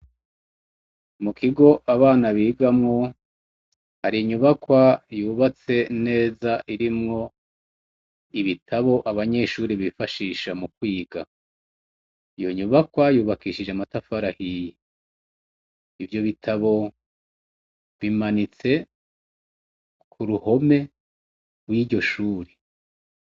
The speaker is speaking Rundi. Mu kigo abana bigamwo, hari inyubakwa yubatse neza irimwo ibitabo abanyeshure bifashisha mu kwiga, iyo nyubakwa y'ubakishije amatafari ahiye, ivyo bitabo bimanitse ku ruhome gw'iryo shure.